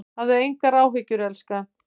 Hafðu engar áhyggjur elskan.